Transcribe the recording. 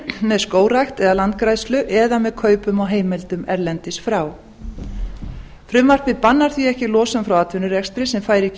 með skógrækt eða landgræðslu eða með kaupum á heimildum erlendis frá frumvarpið bannar því ekki losun frá atvinnurekstri sem fær ekki